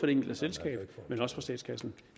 enkelte selskab og statskassen